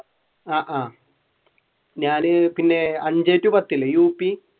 ആഹ് ആഹ് ഞാൻ പിന്നെ അഞ്ചേ ടു പത്തില്ലേ യു പി